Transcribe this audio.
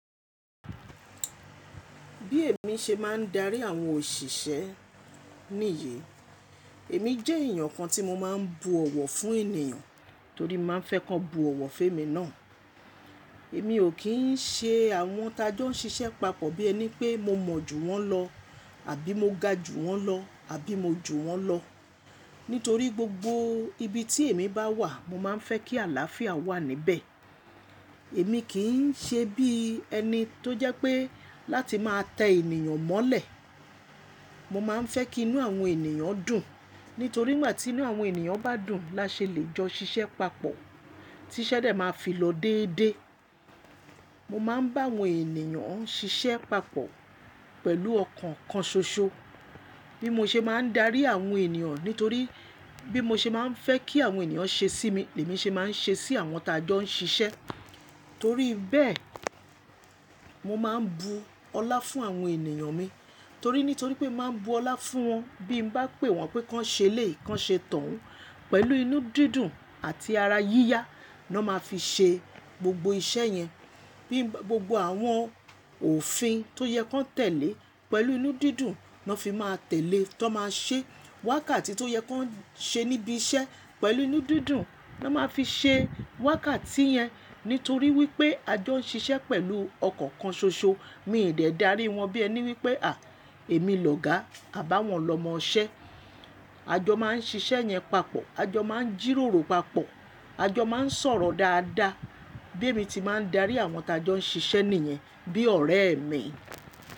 Bí èmi ṣe máa ń darí àwọn òṣìṣẹ́ níyi, èmi jẹ́ èèyàn kan tí mo máa ń bu ọ̀wọ̀ fún ènìyàn torí mo máa ń fẹ́ kán bu ọ̀wọ̀ fún èmi náà. Èmi ò kí ń ṣe àwọn tájọ́ ń ṣiṣẹ́ papọ̀ bí ẹni pé mo mọ jù wọ́n lọ, àbí mo ga jù wọ́n lọ, àbí mo jù wọ́n lọ. Nítorí gbogbo ibi tí èmi bá wà mo máa ń fẹ́ kí àlàáfíà wà níbẹ̀. Èmi kì í ṣe bí ẹni tó jẹ́ pé láti máa tẹ ènìyàn mọ́lẹ̀. Mo máa ń fẹ́ kí inú àwọn ènìyàn dùn. Nítorí ngbà tí inú àwọn ènìyàn bá dùn la ṣe lè jọ ṣiṣẹ́ papọ̀ tí ṣẹ́ dẹ̀ máa fi lọ déédé. Mo máa ń bá àwọn ènìyàn ń ṣiṣẹ́ papọ̀ pẹ̀lú ọkàn kan ṣoṣo. Bí mo ṣe máa ń darí àwọn ènìyàn nítorí bí mo ṣe máa ń fẹ́ kí àwọn ènìyàn ṣe sí mi, lèmi ṣe máa ń ṣe sí àwọn tájọ́ ń ṣiṣẹ́. Torí bẹ́ẹ̀, mo máa ń bu ọlá fún àwọn ènìyàn mi. Torí nítorí pé mo máa ń bu ọlá fún wọn, bí n bá pè wọ́n pé kan ṣe léèyii, kan ṣe tohun, pẹ̀lú inú dídùn àti ara yíyá na máa fi ṣe gbogbo iṣẹ́ yẹn. Bí gbogbo àwọn òfin tó yẹ kan tẹ̀lé pẹ̀lú inú dídùn na fi máa tẹ̀ lée tan máa ṣe. Wákàtí tó yẹ kan ṣe níbi iṣẹ́ pẹ̀lú inú dídùn na máa fi ṣe wákàtí yẹn. Nítorí wípé a jọ ń ṣiṣẹ́ pẹ̀lú ọkàn kan ṣoṣo. Mi ò dè dári wọn bí ẹni wípé à, èmi lòga à bá wọn lọ mọ ọ ṣẹ́. A jọ máa ń ṣiṣẹ́ yẹn papọ̀, a jọ máa ń jìròrò papọ̀, a jọ máa ń sọ̀rọ̀ dáadáa. Bí èmi ti máa ń darí àwọn tájọ́ ń ṣiṣẹ́ nìyẹn bí ọ̀rẹ́ mi.